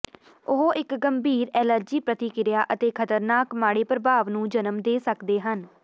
ਉਹ ਇੱਕ ਗੰਭੀਰ ਐਲਰਜੀ ਪ੍ਰਤੀਕ੍ਰਿਆ ਅਤੇ ਖਤਰਨਾਕ ਮਾੜੇ ਪ੍ਰਭਾਵ ਨੂੰ ਜਨਮ ਦੇ ਸਕਦੇ ਹਨ